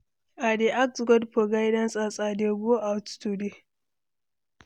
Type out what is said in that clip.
I dey ask God for guidance as I dey go out today.